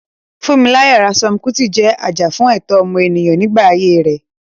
Funmilayo Ransome Kuti jẹ́ ajàfún ẹ̀tọ́ ọmọnìyàn nígbà ayé rẹ̀.